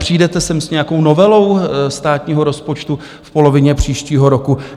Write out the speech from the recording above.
Přijdete sem s nějakou novelou státního rozpočtu v polovině příštího roku?